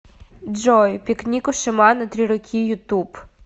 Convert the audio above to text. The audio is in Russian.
джой пикник у шамана три руки ютуб